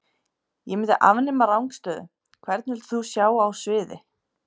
Ég myndi afnema rangstöðu Hvern vildir þú sjá á sviði?